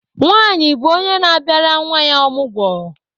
Nwanyị bụ onye na-abịara nwa ya ọmụgwọ.